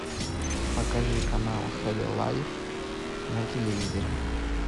покажи канал хд лайф на телевизоре